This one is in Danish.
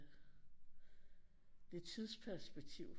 Lidt tidsperspektiv